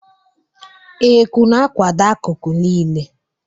Eku na-akwado akụkụ niile.